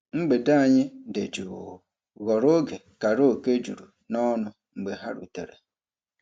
Mgbede anyị dị jụụ ghọrọ oge karaoke juru n'ọṅụ mgbe ha rutere.